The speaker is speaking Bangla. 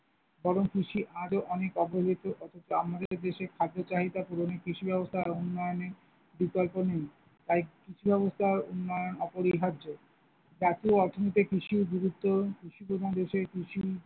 বরং কৃষি আজও অনেক অবহেলিত অথছ আমাদের দেশে খাদ্য চাহিদা পূরণে কৃষি ব্যবস্থার উন্নয়নে বিকল্প নেই, তাই কৃষি ব্যবস্থার উন্নয়ন অপরিহার্য, জাতীয় অর্থনৈতিক কৃষির গুরুত্ব কৃষি প্রধান দেশে কৃষি।